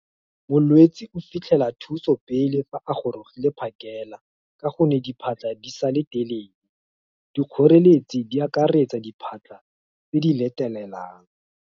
molwetse o fitlhela thuso pele, fa a gorogile phakela, ka gonne diphatlha di sa le telele, dikgoreletsi di akaretsa diphatlha, tse di letelelang.